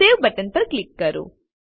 save button પર click કરો